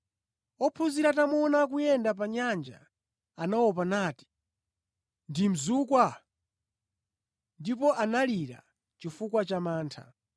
Ophunzira atamuona akuyenda pa nyanja, anaopa nati, “Ndi mzukwa!” Ndipo analira chifukwa cha mantha.